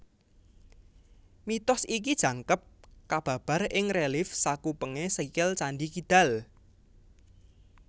Mitos iki jangkep kababar ing relief sakupengé sikil Candhi Kidal